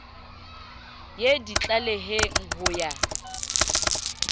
ye di tlaleheng ho ya